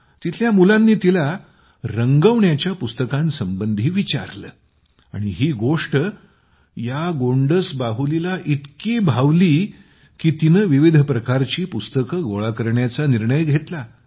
तेथील मुलांनी तिला रंगवण्याच्या पुस्तकांसंबंधी विचारले आणि ही गोष्ट या गोंडस बाहुलीला इतकी भावली की तिने विविध प्रकारची पुस्तके गोळा करण्याचा निर्णय घेतला